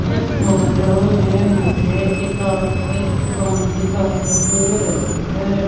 इस फोटो में मुझे किताब की दुकान दिखाई दे रहीं हैं।